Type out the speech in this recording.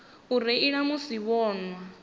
u reila musi vho nwa